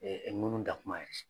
ŋunu da kuma ye